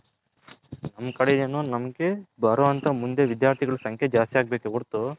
ನಮ್ಮ ಕಡೆ ಏನು ನಮ್ಮಗೆ ಬಾರೋ ಅಂತ ವಿಧ್ಯಾರ್ಥಿಗಳು ಸಂಖ್ಯೆ ಜಾಸ್ತಿ ಆಗಬೇಕೆ ವರ್ತು